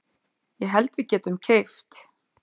Ég held að við getum keypt.